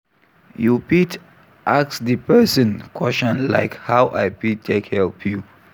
You fit ask di person question like "how I fit take help you? "